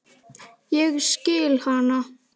Ég skil hana.